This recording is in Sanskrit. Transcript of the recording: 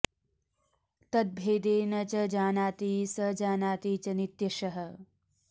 तद्भेदे न च जानाति स जानाति च नित्यशः